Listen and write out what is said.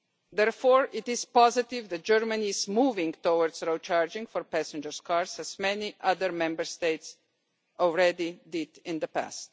Therefore it is positive that Germany is moving towards road charging for passenger cars as many other Member States have already done in the past.